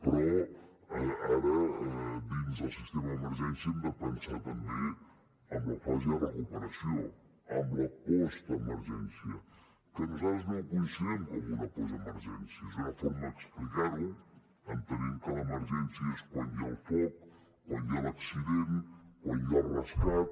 però ara dins del sistema d’emergència hem de pensar també en la fase de recuperació en la postemergència que nosaltres no ho considerem com una postemergència és una forma d’explicar ho entenent que l’emergència és quan hi ha el foc quan hi ha l’accident quan hi ha el rescat